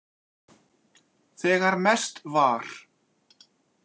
Þegar mest var.